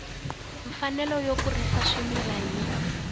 mfanelo yo kurisa swimila yi